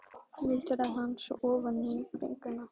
muldraði hann svo ofan í bringuna.